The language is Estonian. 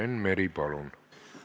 Enn Meri, palun!